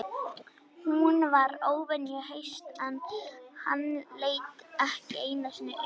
Hún var óvenju höst en hann leit ekki einu sinni upp.